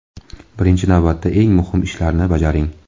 Birinchi navbatda eng muhim ishlarni bajaring.